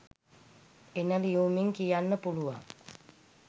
එන ලියුමෙන් කියන්න පුළුවන්